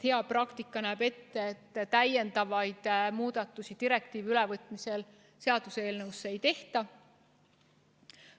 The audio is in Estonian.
Hea tava näeb ette, et muid muudatusi direktiivi ülevõtmisel seaduseelnõus ei tehta.